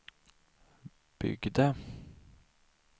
byggde